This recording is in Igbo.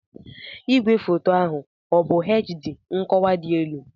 Igwefoto ahụ ọ bụ HD (nkọwa dị elu)?